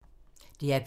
DR P2